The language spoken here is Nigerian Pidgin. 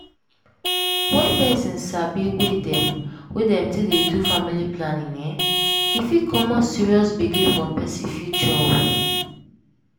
wen peson sabi way dem wey dem take dey do family planning[um]fit comot serious gbege for peson future o.